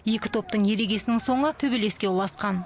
екі топтың ерегесінің соңы төбелеске ұласқан